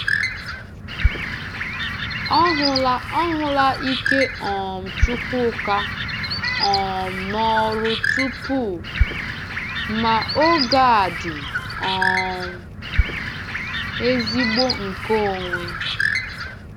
Ọ hụla Ọ hụla ike um Chúkwúka um n’ọrụ tupu, ma oge a dị um ezigbo nke onwe!